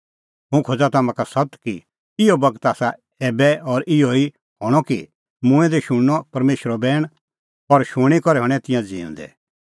हुंह खोज़ा तम्हां का सत्त कि इहअ बगत आसा एभै और इहअ ई हणअ कि मूंऐं दै शुणनअ परमेशरो बैण और शूणीं करै हणैं तिंयां ज़िऊंदै